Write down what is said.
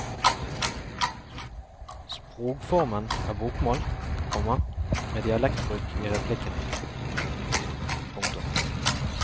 Sprogformen er bokmål, komma med dialektbruk i replikkene. punktum